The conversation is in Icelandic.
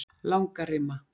Langarima